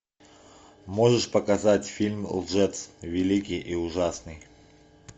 можешь показать фильм лжец великий и ужасный